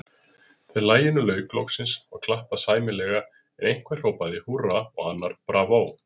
Þegar laginu lauk loksins, var klappað sæmilega, en einhver hrópaði húrra og annar bravó.